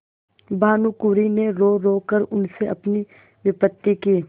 भानुकुँवरि ने रोरो कर उनसे अपनी विपत्ति की